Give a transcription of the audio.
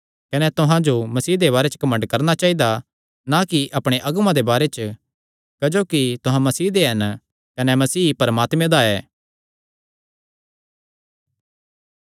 कने तुहां जो मसीह दे बारे घमंड करणा चाइदा ना कि अपणे अगुआं दे बारे च क्जोकि तुहां मसीह दे हन कने मसीह परमात्मे दा ऐ